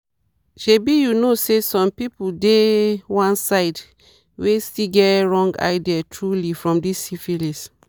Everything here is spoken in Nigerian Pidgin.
shebi you know say some people dey one side where still get wrong ideas truely for this syphilis